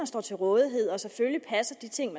står til rådighed og selvfølgelig passer de ting